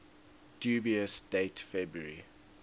dubious date february